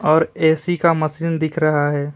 और ए_सी का मशीन दिख रहा है।